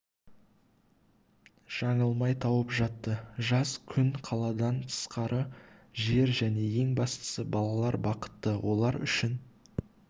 жаңылмай тауып жатты жаз күн қаладан тысқары жер және ең бастысы балалар бақытты олар үшін